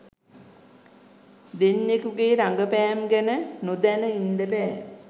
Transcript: දෙන්නෙකුගේ රගපෑම් ගැන නොදැන ඉන්ඩ බෑ